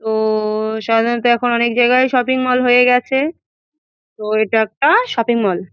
তো-ও-ও সাধারত এখন অনেক জায়গায় শপিং মল হয়ে গেছে তো এটা একটা শপিং মল ।